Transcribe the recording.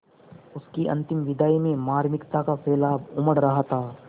उसकी अंतिम विदाई में मार्मिकता का सैलाब उमड़ रहा था